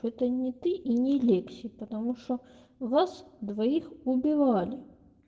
это не ты и не лекс потому что вас двоих убивали